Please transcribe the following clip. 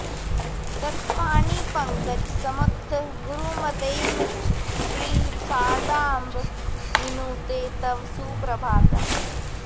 तत्पाणिपङ्कज समुत्थ गुरूत्तमैश्च श्री शारदाम्ब विनुते तव सुप्रभातम्